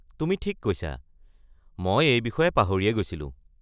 তুমি ঠিক কৈছা, মই এই বিষয়ে পাহৰিয়েই গৈছিলোঁ।